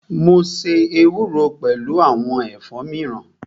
Mo ṣe ewúro pẹlu awọn ẹ̀fọ́ miran